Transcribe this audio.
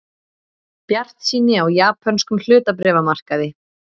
Bjartsýni á japönskum hlutabréfamarkaði